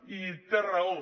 i té raó